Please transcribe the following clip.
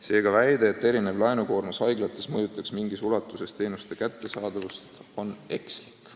Seega väide, et erinev laenukoormus haiglates mõjutab mingis ulatuses teenuste kättesaadavust, on ekslik.